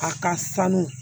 A ka sanu